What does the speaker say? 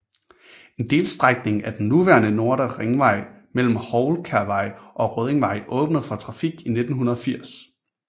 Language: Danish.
En delstrækning af den nuværende Nordre Ringvej mellem Houlkærvej og Røddingvej åbnede for trafik i 1980